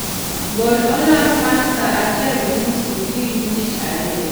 gol olang' mar saa achiel gi nus okinyi tich ariyo